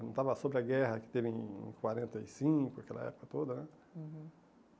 Comentava sobre a guerra que teve em quarenta e cinco, aquela época toda né. Uhum